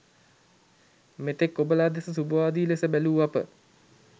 මෙතෙක් ඔබලා දෙස සුභවාදී ලෙස බැලූ අප